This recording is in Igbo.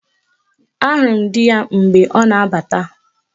Ahụrụ m dị ya mgbe ọ na-abata